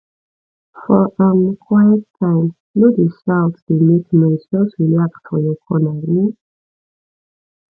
for um quiet time no dey shout dey make noise just relax for your corner um